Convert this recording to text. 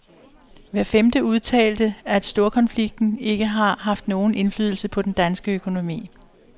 Hver femte udtalte, at storkonflikten ikke har haft nogen indflydelse på den danske økonomi.